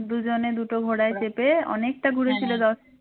দুজনে দুটো ঘোড়ায় চেপে অনেকটা ঘুরেছিল